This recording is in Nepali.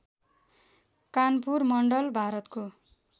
कानपुर मण्डल भारतको